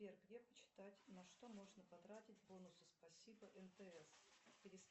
сбер где почитать на что можно потратить бонусы спасибо мтс